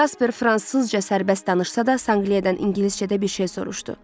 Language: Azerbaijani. Jasper fransızca sərbəst danışsa da, Sanqliyadan ingiliscə də bir şey soruşdu.